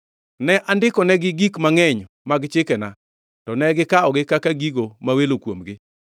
Ne andiko negi gik mangʼeny mag chikena, to ne gikawogi kaka gigo ma welo kuomgi.